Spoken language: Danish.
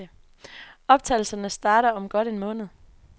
Optagelserne starter om godt en måned.